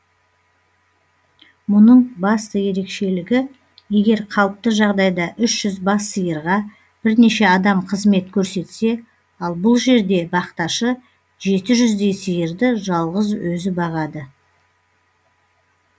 мұның басты ерекшелігі егер қалыпты жағдайда үш жүз бас сиырға бірнеше адам қызмет көрсетсе ал бұл жерде бақташы жеті жүздей сиырды жалғыз өзі бағады